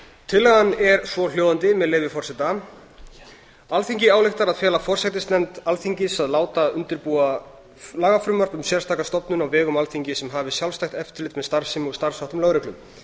tillagan er svohljóðandi með leyfi forseta alþingi ályktar að fela forsætisnefnd alþingis að láta undirbúa lagafrumvarp um sérstaka stofnun á vegum alþingis sem hafi sjálfstætt eftirlit með starfsemi og starfsháttum lögreglu